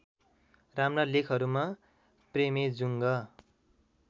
राम्रा लेखहरूमा प्रेमेजुङ्ग